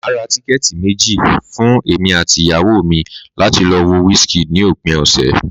Màá ra tíkẹ́ẹ̀tì méjì fún èmi àti ìyàwó mi láti lo wo Wizkid ní òpin ọ̀sẹ̀